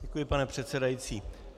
Děkuji, pane předsedající.